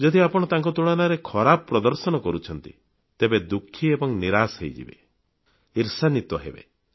ଯଦି ଆପଣ ତାଙ୍କ ତୁଳନାରେ ଖରାପ ପ୍ରଦର୍ଶନ କରୁଛନ୍ତି ତେବେ ଦୁଃଖୀ ଏବଂ ନିରାଶ ହୋଇଯିବେ ଈର୍ଷାନ୍ୱିତ ହେବେ